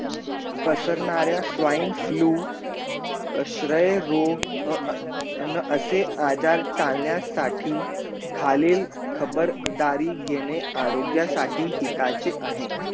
पसणाऱ्या swine flu श्रेय रोग न असे आजार चालण्या साठी खालील खबर दारी घेणे आरोग्य साठी हिताचे आहे